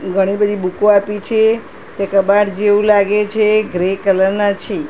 ઘણી બધી બુકો આપી છે તે કબાટ જેવું લાગે છે ગ્રે કલર ના છે.